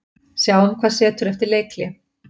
Sjáum hvað setur eftir leikhlé.